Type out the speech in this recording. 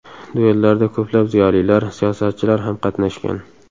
Duellarda ko‘plab ziyolilar, siyosatchilar ham qatnashgan.